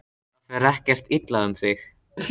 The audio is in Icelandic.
Það fer ekkert illa um þig?